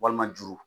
Walima juru